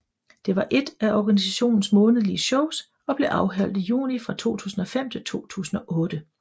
Det var ét af organisationens månedlige shows og blev afholdt i juni fra 2005 til 2008